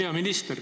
Hea minister!